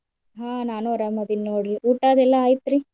ಹ್ಮ್ ನಾನು ಅರಾಮ್ ಅದಿನ್ ನೋಡ್ರಿ ಊಟಾ ಅದೆಲ್ಲಾ ಆಯ್ತ್ರಿ?